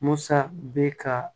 Musa bɛ ka